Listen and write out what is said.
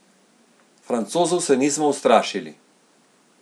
Francozov se nismo ustrašili.